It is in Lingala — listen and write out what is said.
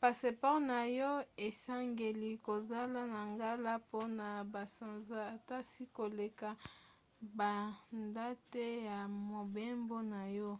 passeport na yo esengeli kozala na ngala mpona basanza ata 6 koleka badate ya mobembo na yo.